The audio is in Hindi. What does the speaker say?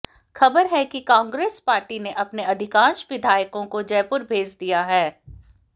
खबर है कि कांग्रेस पार्टी ने अपने अधिकांश विधायकों को जयपुर भेज दिया है